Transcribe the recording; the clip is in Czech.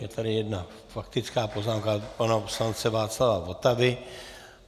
Je tady jedna faktická poznámka pana poslance Václava Votavy.